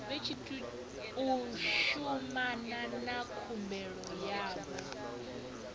u shumana na khumbelo yavho